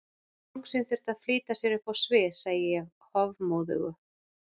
Bangsinn þurfti að flýta sér upp á svið, segi ég hofmóðug.